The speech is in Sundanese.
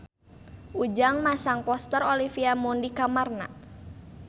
Ujang masang poster Olivia Munn di kamarna